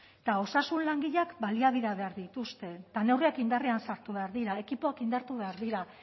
eta osasun langileek baliabideak behar dituzte eta neurriak indarrean sartu behar dira ekipoak indartu behar dira